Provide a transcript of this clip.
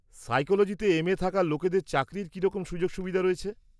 সাইকোলোজিতে M A থাকা লোকেদের চাকরির কিরকম সুযোগ রয়েছে?